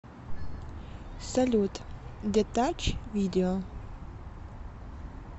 салют детач видео